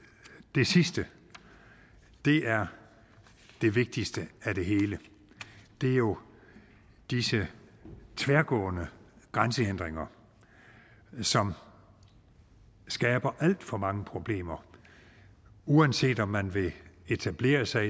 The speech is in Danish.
det sidste er det vigtigste af det hele det er jo disse tværgående grænsehindringer som skaber alt for mange problemer uanset om man vil etablere sig